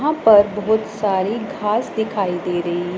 वहां पर बहुत सारी घास दिखाई दे रही--